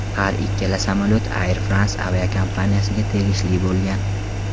Har ikkala samolyot Air France aviakompaniyasiga tegishli bo‘lgan.